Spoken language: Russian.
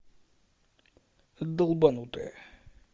долбанутые